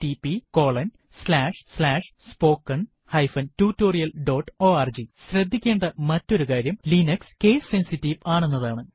httpspoken tutorialorg ശ്രദ്ധിക്കേണ്ട മറ്റൊരുകാര്യം Linux case sensitive ആണെന്നതാണ്